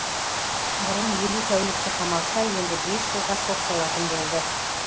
бұрын елу тәулікке қамалса енді бес жылға сотталатын болды